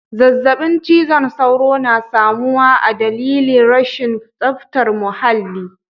Zazzabin cizon sauro na samuwa adalili rashin zaftar muhalli.